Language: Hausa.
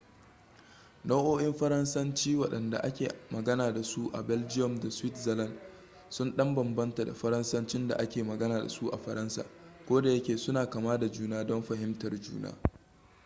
nau'o'in faransanci waɗanda ake magana dasu a belgium da switzerland sun ɗan bambanta da faransancin da ake magana dasu a faransa kodayake suna kama da juna don fahimtar juna